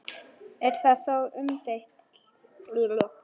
Er það þó umdeilt